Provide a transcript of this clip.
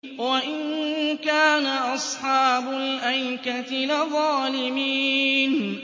وَإِن كَانَ أَصْحَابُ الْأَيْكَةِ لَظَالِمِينَ